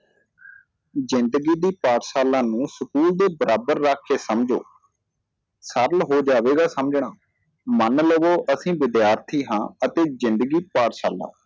ਜ਼ਿੰਦਗੀ ਦੀ ਪਾਠਸ਼ਾਲਾ ਨੂੰ school ਦੇ ਬਰਾਬਰ ਰੱਖ ਕੇ ਸਮਝੋ ਸਰਲ ਹੋ ਜਾਵੇਗਾ ਸਮਝਣਾ ਮਣ ਲਵੋ ਅਸੀਂ ਵਿਧਿਆਰਥੀ ਹਾਂ ਅਤੇ ਜਿੰਦਗੀ ਪਾਠਸ਼ਾਲਾ